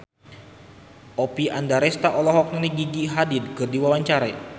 Oppie Andaresta olohok ningali Gigi Hadid keur diwawancara